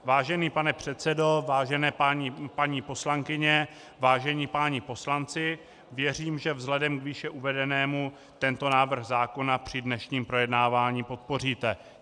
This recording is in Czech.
Vážený pane předsedo, vážené paní poslankyně, vážení páni poslanci, věřím, že vzhledem k výše uvedenému tento návrh zákona při dnešním projednávání podpoříte.